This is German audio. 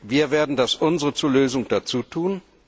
Wir werden das Unsere zur Lösung dazutun